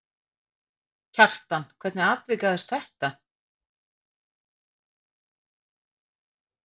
Kjartan, hvernig atvikaðist þetta?